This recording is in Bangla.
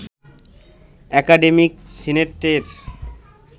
একাডেমিক সিনেটের